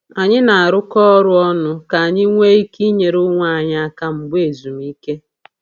Anyị na-arụkọ ọrụ ọnụ ka anyị nwee ike inyere onwe anyị aka mgbe ezumike.